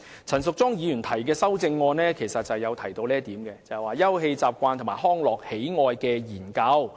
陳淑莊議員提出的修正案要求"盡快重新進行'休憩習慣與康樂喜愛研究'"。